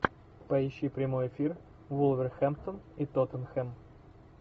поищи прямой эфир вулверхэмптон и тоттенхэм